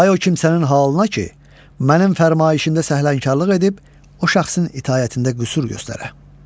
Vay o kimsənin halına ki, mənim fərmaişində səhlənkarlıq edib o şəxsin itaətində qüsur göstərə.